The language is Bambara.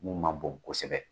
Mun man bon kosɛbɛ